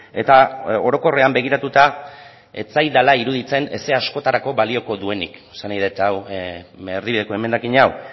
eta orokorrean begiratuta ez zaidala iruditzen ezer askotarako balioko duenik esan nahi dut erdibideko emendakin hau